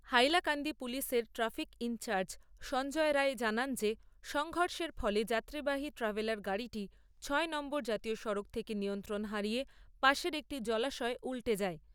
হাইলাকান্দি পুলিশের traffic incharge Sanjay Roy জানান যে সংঘর্ষের ফলে যাত্রীবাহী ট্র্যাভেলার গাড়িটি ছয় নম্বর জাতীয় সড়ক থেকে নিয়ন্ত্রণ হারিয়ে পাশের একটি জলাশয়ে উল্টে যায়।